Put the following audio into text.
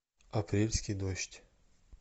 апрельский дождь